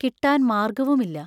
കിട്ടാൻ മാർഗവുമില്ല.